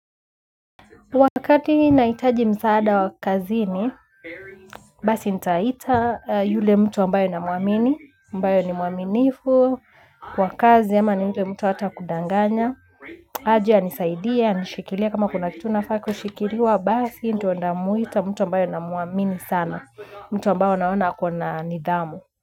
Wakati nahitaji msaada wa kazini, basi nitaita yule mtu ambayo na muamini, mbayo ni muaminifu, kwa kazi ama ni yule mtu hata kudanganya, aje anisaidie, anishikilia kama kuna kitu nafaa kushikiliwa, basi ndio namuita mtu ambayo na muamini sana, mtu ambayo naona akona nidhamu.